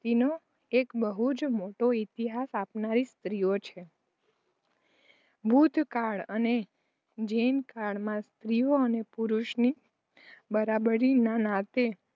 નો એક બહુજ મોટો ઈતિહાસ આપનારી સ્ત્રીઓ છે. બુધ કાળ અને જૈનકાળમાં સ્ત્રી અને પુરુષ ની બરાબરી ના નાતે